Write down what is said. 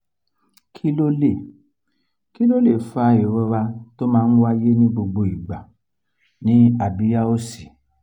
kí ló lè kí ló lè fa ìrora tó máa ń wáyé ní gbogbo igba ni abiya òsì?